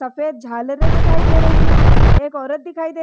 सफेद झालरे दिखाई दे रही है एक औरत दिखाई दे --